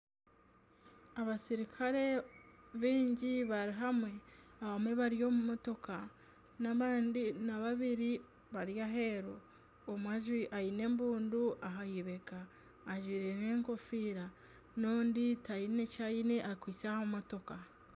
Abasirukare baingi bari hamwe abamwe bari omu motooka n'abandi babiri bari aheeru omwe aine embundu aheibega ajwaire n'enkofiira n'ondi taine kyaine akwaitse aha motooka.